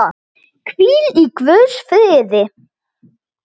Hvíl í guðs friði.